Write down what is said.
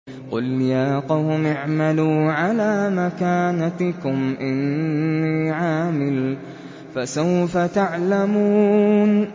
قُلْ يَا قَوْمِ اعْمَلُوا عَلَىٰ مَكَانَتِكُمْ إِنِّي عَامِلٌ ۖ فَسَوْفَ تَعْلَمُونَ